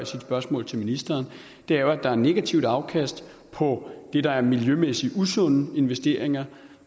spørgsmål til ministeren er jo at der er negativt afkast på det der er miljømæssigt usunde investeringer